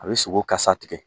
A bɛ sogo kasa tigɛ.